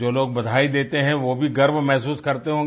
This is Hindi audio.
और जो लोग बधाई देते हैं वो भी गर्व महसूस करते